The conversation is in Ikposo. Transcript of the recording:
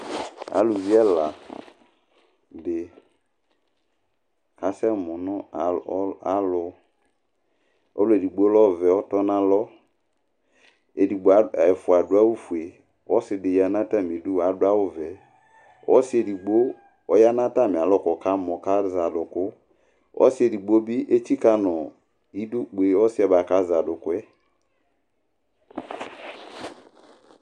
ɑlũvi ɛlɑɗi ɑsɛmũ ɔ ɑlụ ɔluɛɗigbo lɛ ọvẽ ɑtọɲạlõ ɛfụɑ ɑɗụɑwω ƒũɛ ɔsiɗiyɑɲɑ tɑmiɗũ ɑɗụɑwʊvẽ ɔsiɛɗigbo ɔyɑ ɲɑtɑmiɑlɔ ƙɔkɑmɔ ɑzɛɑɗụkũ ɔsiɛɗigbobi ɛtsikɑɲiɗụkpé ɔsiɛ kɑyɑɗũkuɛ